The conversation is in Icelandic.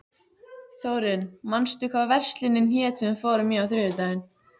Þórinn, manstu hvað verslunin hét sem við fórum í á þriðjudaginn?